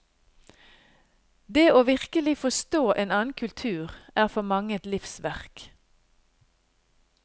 Det å virkelig forstå en annen kultur er for mange et livsverk.